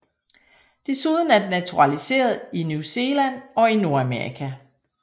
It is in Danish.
Desuden er den naturaliseret i New Zealand og Nordamerika